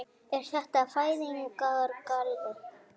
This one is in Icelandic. Er þetta fæðingargalli?